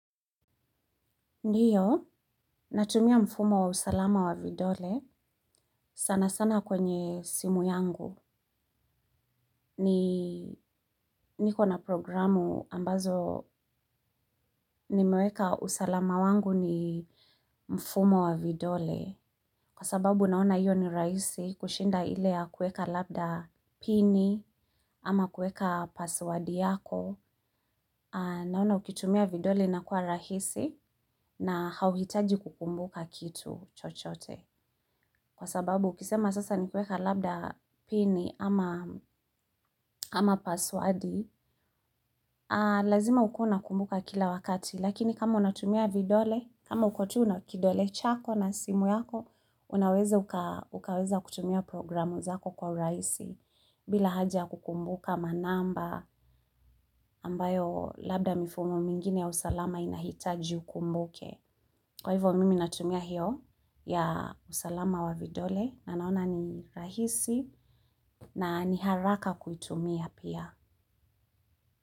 Ndiyo, natumia mfumo wa usalama wa vidole sana sana kwenye simu yangu. Ni, niko na programu ambazo ni meweka usalama wangu ni mfumo wa vidole. Kwa sababu naona iyo ni rahisi kushinda ile ya kueka labda pini ama kuweka passwordi yako. Naona ukitumia vidole na inakuwa rahisi na hauhitaji kukumbuka kitu chochote. Kwa sababu, ukisema sasa nikiweka labda pini ama ama paswadi, lazima ukuwe unakumbuka kila wakati, lakini kama unatumia vidole, kama uko tu na kidole chako na simu yako, unaweza ukaweza kutumia programu zako kwa urahisi bila haja kukumbuka manamba ambayo labda mifumo mingine ya usalama inahitaji ukumbuke. Kwa hivyo mimi natumia hiyo ya usalama wa vidole na naona ni rahisi na ni haraka kuitumia pia.